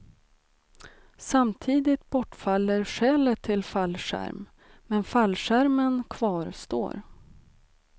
Samtidigt bortfaller skälet till fallskärm, men fallskärmen kvarstår.